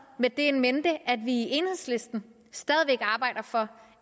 med det in mente at vi i enhedslisten stadig væk arbejder for